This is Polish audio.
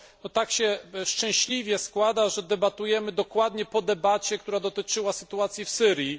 Tak się szczęśliwie składa, że debatujemy dokładnie po debacie, która dotyczyła sytuacji w Syrii.